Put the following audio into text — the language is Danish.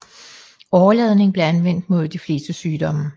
Åreladning blev anvendt mod de fleste sygdomme